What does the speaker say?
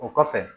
O kɔfɛ